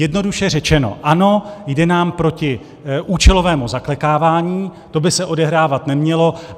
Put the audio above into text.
Jednoduše řečeno, ano, jde nám proti účelovému zaklekávání, to by se odehrávat nemělo.